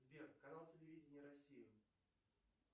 сбер канал телевидения россия